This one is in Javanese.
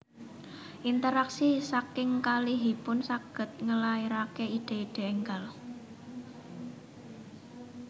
Interaksi saking kalihipun saged ngelahirake ide ide enggal